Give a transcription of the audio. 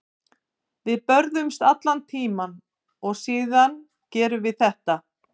Við börðumst allan tímann og síðan gerum við þetta.